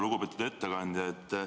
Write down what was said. Lugupeetud ettekandja!